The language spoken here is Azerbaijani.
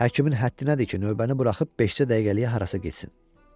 Həkimin həddi nədir ki, növbəni buraxıb beşcə dəqiqəliyə harasa getsin?